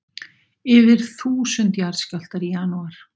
Yfir þúsund jarðskjálftar í janúar